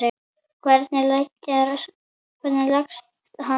Hvernig leggst hann í þig?